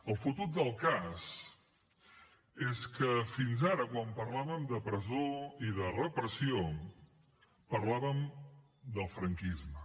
el fotut del cas és que fins ara quan parlàvem de presó i de repressió parlàvem del franquisme